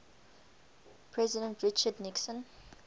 president richard nixon